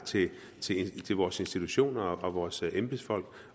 tillid til vores institutioner og vores embedsfolk